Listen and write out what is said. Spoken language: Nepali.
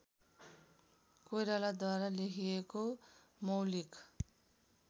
कोइरालाद्वारा लेखिएको मौलिक